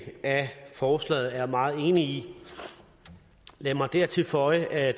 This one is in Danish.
af forslaget er jeg meget enig i lad mig dertil føje at